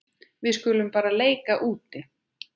Við skulum bara leika úti.